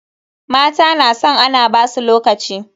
Mata na san ana basu lokaci.